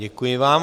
Děkuji vám.